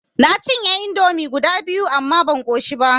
Na cinye indomi guda biyu amma ban ƙoshi ba.